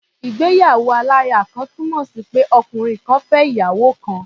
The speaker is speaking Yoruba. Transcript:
Ìgbéyàwó-aláya-kan túnmọ̀ sí pé ọkùnrin kan fẹ́ ìyàwó kan.